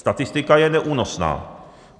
Statistika je neúnosná.